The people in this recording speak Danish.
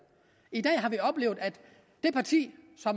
i dag har vi oplevet at det parti